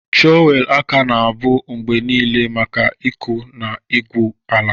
Trọwelụ aka na-abụ mgbe niile maka ịkụ na igwu ala.